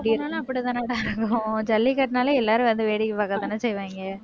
எப்பபோனாலும் அப்படித்தானேடா இருக்கும். ஜல்லிக்கட்டுன்னாலே, எல்லாரும் வந்து வேடிக்கை பார்க்கத்தானே செய்வாங்க.